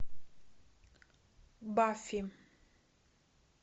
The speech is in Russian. бафи